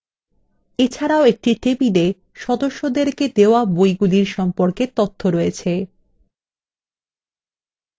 এছাড়াও একটি table সদস্যদেরকে বইগুলির সম্পর্কে তথ্য রয়েছে